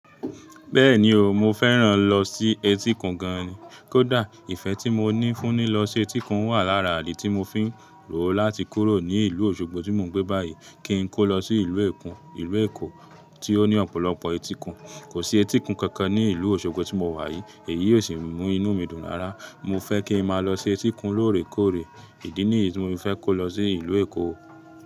Bẹ́ẹ̀ni o, mo fẹ́ràn lọ sí et'íkun gan ni. Kódà ìfẹ́ tí mo ní fún ní lọ sí etí'kun wà lára idì tí mo fi ń rò ó láti kúrò ní ìlú Osogbo tí mò ń gbé báyìí kí n kó lọ sí ìlú Èkó. Ìlú Èkó tí ó ní ọ̀pọ̀lọpọ̀ etí'kun. Kò sí etí'kun kankan ní ìlú Osogbo tí mo wà yìí. Èyí o sì mú inú mi dùn rara. Mo fẹ́ kí n máa lọ sí etí'kun lóòrèkóòrè. Ìdí nìyí tí mo fẹ́ kó lọ sí ìlú Èkó.